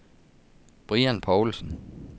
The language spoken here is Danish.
Brian Poulsen